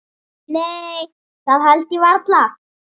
Nei það held ég varla.